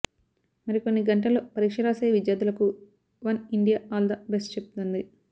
మరికొన్నిగంటల్లో పరీక్ష రాసే విద్యార్థులకు one India all the best చెబుతోంది